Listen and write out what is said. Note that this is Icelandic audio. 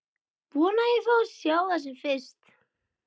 Vona að ég fái að sjá það sem fyrst.